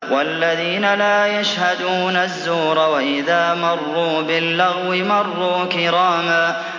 وَالَّذِينَ لَا يَشْهَدُونَ الزُّورَ وَإِذَا مَرُّوا بِاللَّغْوِ مَرُّوا كِرَامًا